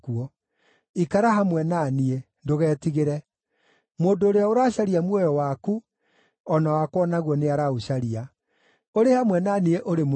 Ikara hamwe na niĩ; ndũgetigĩre; mũndũ ũrĩa ũracaria muoyo waku, o na wakwa o naguo nĩaraũcaria. Ũrĩ hamwe na niĩ ũrĩ mũmenyerere.”